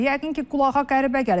Yəqin ki, qulağa qəribə gəlir.